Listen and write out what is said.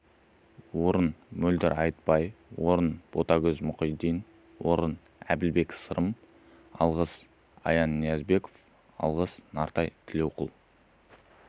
орын мөлдір айтбай орын ботагөз мұхитдин орын әділбек сырым алғыс аян ниязбеков алғыс нартай тілеуқұл